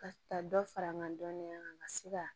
Ka taa dɔ fara n ka dɔnniya kan ka se ka